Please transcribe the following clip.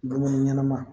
Dumuni ɲɛnama